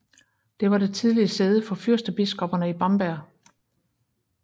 Det var det tidligere sæde for fyrstebiskopperne i Bamberg